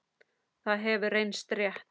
Það hefur reynst rétt.